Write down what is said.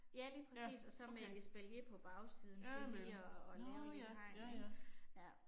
Ja lige præcis og så med et espalier på bagsiden til lige at at lave et lille hegn ik ja